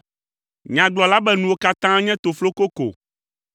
Nyagblɔla be nuwo katã nye tofloko ko.